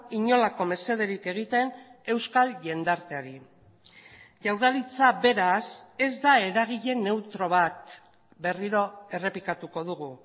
inolako mesederik egiten euskal jendarteari jaurlaritza beraz ez da eragile neutro bat berriro errepikatuko dugu